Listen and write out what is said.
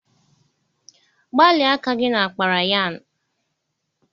Gbalịa aka gị na kpara yarn!